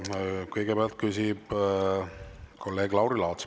Kõigepealt küsib kolleeg Lauri Laats.